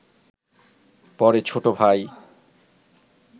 পরে ছোট ভাই